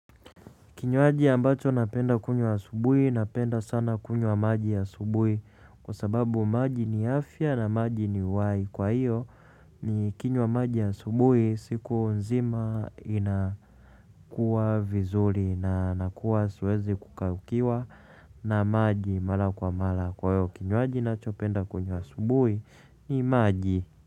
Kinywaji ambacho napenda kunywa subuhi napenda sana kunywa maji ya asubuhi kwa sababu maji ni afya na maji ni uhai. Kwa hiyo ni kinye maji ya asubuhi siku nzima inakuwa vizuri na nakuwa siwezi kukaukiwa na maji mallra kwa mara. Kwa hiyo kinywaji ninacho penda kunywa asubuhi ni maji.